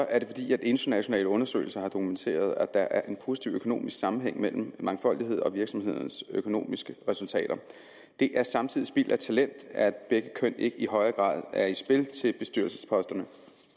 er det fordi internationale undersøgelser har dokumenteret at der er en positiv økonomisk sammenhæng mellem mangfoldighed og virksomhedernes økonomiske resultater det er samtidig spild af talent at begge køn ikke i højere grad er i spil til bestyrelsesposterne